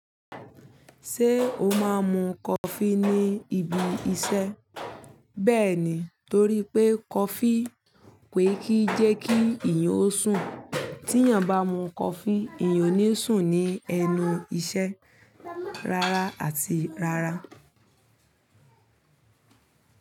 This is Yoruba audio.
Ṣé o máa ń mu coffee ní ibi iṣẹ́? Bẹ́ẹ̀ ni, torí pé coffee kì í jẹ́ kí èèyàn ó sùn, tí èèyàn bá mu coffee, èèyàn ò ní sùn ní ẹnu iṣẹ́ rárá àti rárá.